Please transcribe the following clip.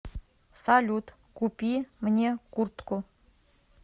салют купи мне куртку